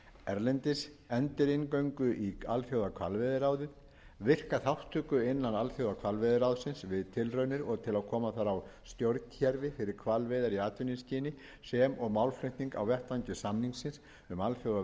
erlendis endurinngöngu í alþjóðahvalveiðiráðið virka þátttöku innan alþjóðahvalveiðiráðsins við tilraunir til að koma þar á stjórnkerfi fyrir hvalveiðar í atvinnuskyni sem og málflutning á vettvangi samningsins um alþjóðaverslun með